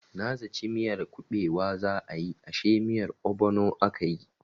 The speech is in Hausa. Na zaci miyar kubewa za a yi ashe miyar obono akayi.